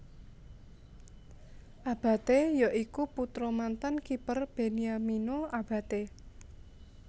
Abate ya iku putra mantan kiper Beniamino Abate